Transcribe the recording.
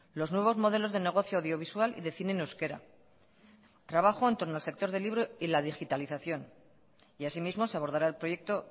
los nuevos modelos de negocio audiovisual y de cine en euskera trabajo en torno al sector de libro y la digitalización y así mismo se abordará el proyecto